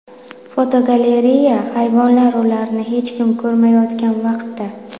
Fotogalereya: Hayvonlar ularni hech kim ko‘rmayotgan vaqtda.